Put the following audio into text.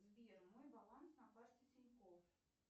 сбер мой баланс на карте тинькофф